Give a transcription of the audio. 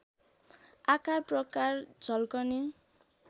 आकार प्रकार झल्कने